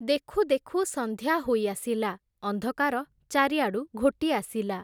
ଦେଖୁ ଦେଖୁ ସନ୍ଧ୍ୟା ହୋଇ ଆସିଲା, ଅନ୍ଧକାର ଚାରିଆଡ଼ୁ ଘୋଟି ଆସିଲା ।